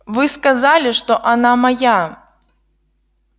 вы сказали что она моя